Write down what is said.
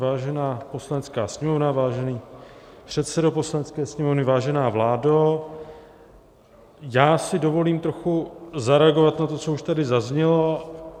Vážená Poslanecká sněmovno, vážený předsedo Poslanecké sněmovny, vážená vládo, já si dovolím trochu zareagovat na to, co už tady zaznělo.